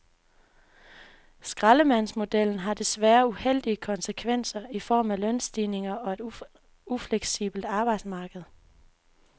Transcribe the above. Skraldemandsmodellen har desværre uheldige konsekvenser i form af lønstigninger og et ufleksibelt arbejdsmarked.